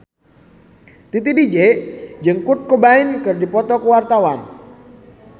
Titi DJ jeung Kurt Cobain keur dipoto ku wartawan